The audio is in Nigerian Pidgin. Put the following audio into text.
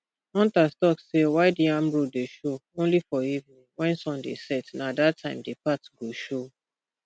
hunters talk say wild yam road dey show only for evening when sun dey set na that time the path go show